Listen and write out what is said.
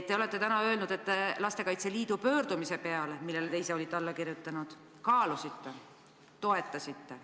Te olete täna öelnud, et Lastekaitse Liidu pöördumist, millele te ise olite alla kirjutanud, te kaalusite ja toetasite.